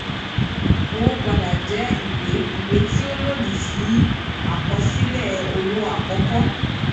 owó padà jẹ ìwé ìwé tí ó lòdì sí àkọsílẹ owó àkọkọ